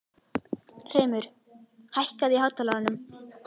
Hreimur, hækkaðu í hátalaranum.